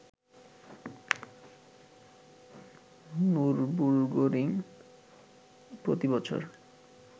Nürburgring প্রতি বছর